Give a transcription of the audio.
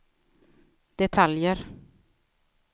detaljer